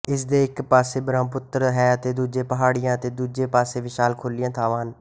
ਇਸ ਦੇ ਇੱਕ ਪਾਸੇ ਬ੍ਰਹਮਪੁੱਤਰ ਹੈ ਅਤੇ ਪਹਾੜੀਆਂ ਅਤੇ ਦੂਜੇ ਪਾਸੇ ਵਿਸ਼ਾਲ ਖੁੱਲ੍ਹੀਆਂ ਥਾਵਾਂ ਹਨ